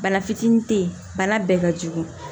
Bana fitinin te yen bana bɛɛ ka jugu